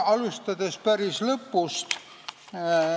Alustan päris lõpust.